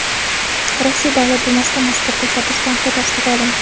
Rossiya Davlat dumasida mazkur tashabbus tanqid ostiga olindi.